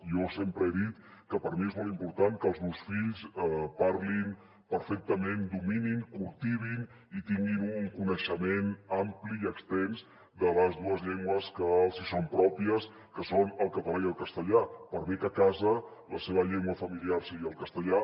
jo sempre he dit que per mi és molt important que els meus fills parlin perfectament dominin cultivin i tinguin un coneixement ampli i extens de les dues llengües que els hi són pròpies que són el català i el castellà per bé que a casa la seva llengua familiar sigui el castellà